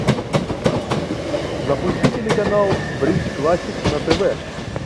запусти телеканал бридж классик на тв